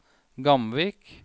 Gamvik